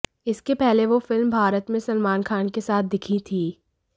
इसके पहले वो फिल्म भारत में सलमान खान के साथ दिखीं थीँ